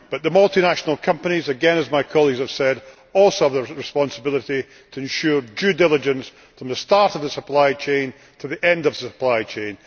But the multinational companies, again as my colleagues have said, also have the responsibility to ensure due diligence from the start of the supply chain to the end of the supply chain.